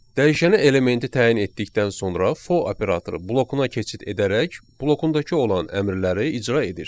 Dəyişənə elementi təyin etdikdən sonra for operatoru blokuna keçid edərək blokundakı olan əmrləri icra edir.